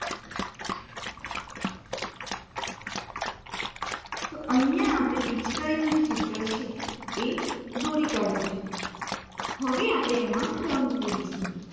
તો અહિયાં આપણે જે પિચકારીનું જે ચિત્ર છે એ દોરી કાઢ્યું છે હવે આપણે એમ રંગ પુરીછું